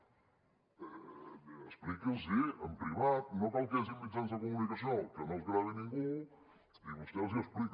expliqui’ls ho en privat no cal que hi hagi mitjans de comunicació que no els gravi ningú i vostè els hi explica